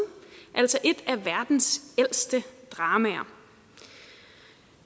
altså et af verdens ældste dramaer